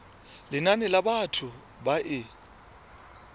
lenane la batho ba e